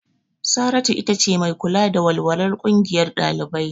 Saratu itace mai kula da walwalar ƙungiyar ɗalibai.